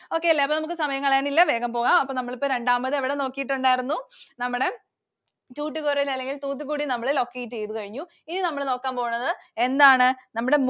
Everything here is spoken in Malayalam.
Okay അല്ലേ? അപ്പോ നമുക്ക് സമയം കളയാനില്ല. വേഗം പോകാം. അപ്പൊ നമ്മളിപ്പോ രണ്ടാമത് എവിടെ നോക്കിയിട്ടുണ്ടായിരുന്നു? നമ്മുടെ Tuticorin അല്ലെങ്കിൽ തൂത്തുക്കുടി നമ്മൾ locate ചെയ്തു കഴിഞ്ഞു. ഇനി നമ്മൾ നോക്കാൻ പോകണത് എന്താണ്? നമ്മടെ